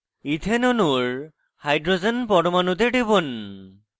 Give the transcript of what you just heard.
ethane অণুর hydrogen পরমাণুতে টিপুন